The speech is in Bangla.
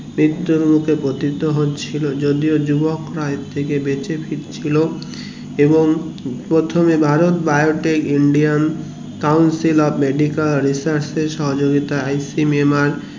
মৃত্যুর মুখে প্রতিটি হচ্ছিলো যদিও যুবকরা এর থেকে বেঁচে ফিরছিলো এবং প্রথমে Bharat biotic indian council of medical research সহযোগিতায়